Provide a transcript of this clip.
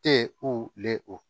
Tɛ o lɛ o